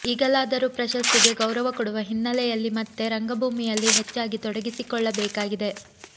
ಈಗಲಾದರೂ ಪ್ರಶಸ್ತಿಗೆ ಗೌರವ ಕೊಡುವ ಹಿನ್ನೆಲೆಯಲ್ಲಿ ಮತ್ತೆ ರಂಗಭೂಮಿಯಲ್ಲಿ ಹೆಚ್ಚಾಗಿ ತೊಡಗಿಸಿಕೊಳ್ಳಬೇಕಾಗಿದೆ